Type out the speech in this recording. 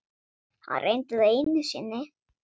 Hann reyndi það einu sinni.